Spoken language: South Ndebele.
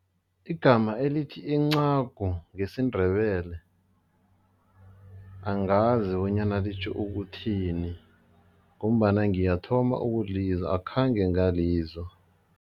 Igama elithi incagu ngesiNdebele angazi bonyana litjho ukuthini ngombana ngiyathoma ukulizwa, akhange ngalizwa.